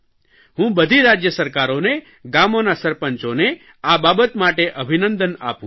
હું બધી રાજય સરકારોને ગામોના સરપંચોને આ બાબત માટે અભિનંદન આપું છું